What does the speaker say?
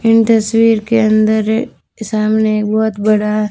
इन तस्वीर के अंदर ये सामने एक बहोत बड़ा--